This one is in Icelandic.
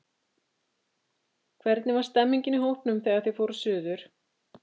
Hvernig var stemningin í hópnum, þegar þið fóruð suður?